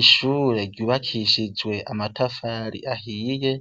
Ishure ryubakishijwe amatafari ahiye